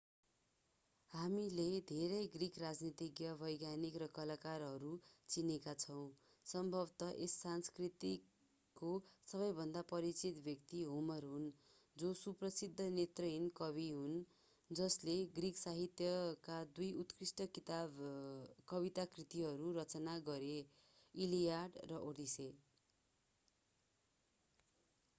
हामीले धेरै ग्रिक राजनीतिज्ञ वैज्ञानिक र कलाकारहरू चिनेका छौं सम्भवतः यस संस्कृतिको सबैभन्दा परिचित व्यक्ति होमर हुन् जो सुप्रसिद्ध नेत्रहीन कवि हुन् जसले ग्रिक साहित्यका दुई उत्कृष्ट कविता कृतिहरू रचना गरे इलियड र ओडेसी